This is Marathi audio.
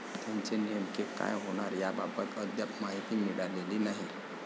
त्याचे नेमके काय होणार याबाबत अद्याप माहिती मिळालेली नाही.